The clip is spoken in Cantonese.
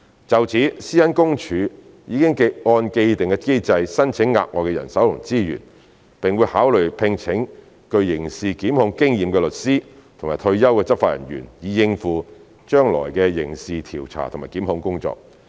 就此，個人資料私隱專員公署已按既定機制申請額外的人手和資源，並會考慮聘請具刑事檢控經驗的律師或退休的執法人員，以應付將來的刑事調查和檢控工作。